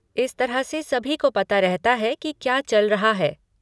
इस तरह से सभी को पता रहता है कि क्या चल रहा है।